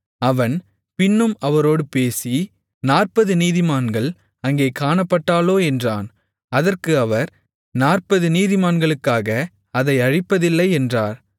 அவன் பின்னும் அவரோடு பேசி நாற்பது நீதிமான்கள் அங்கே காணப்பட்டாலோ என்றான் அதற்கு அவர் நாற்பது நீதிமான்களுக்காக அதை அழிப்பதில்லை என்றார்